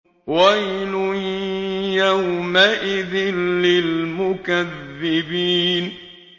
وَيْلٌ يَوْمَئِذٍ لِّلْمُكَذِّبِينَ